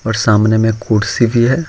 और सामने मे कुर्सी भी है।